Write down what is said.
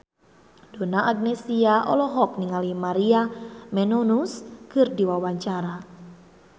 Donna Agnesia olohok ningali Maria Menounos keur diwawancara